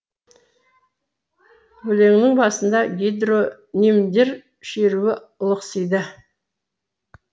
өлеңнің басында гидронимдер шеруі лықсиды